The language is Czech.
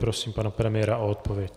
Prosím pana premiéra o odpověď.